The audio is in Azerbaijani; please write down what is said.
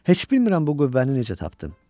Heç bilmirəm bu qüvvəni necə tapdım.